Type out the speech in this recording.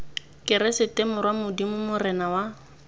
keresete morwa modimo morena wa